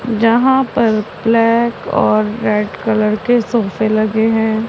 जहां पर ब्लैक और रेड कलर के सोफे लगे हैं।